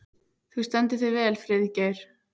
Þú stendur þig vel, Friðgeir!